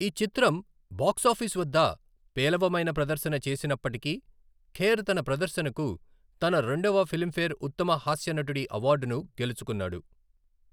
ఈ చిత్రం బాక్సాఫీస్ వద్ద పేలవమైన ప్రదర్శన చేసినప్పటికీ, ఖేర్ తన ప్రదర్శనకు తన రెండవ ఫిలింఫేర్ ఉత్తమ హాస్య నటుడి అవార్డును గెలుచుకున్నాడు.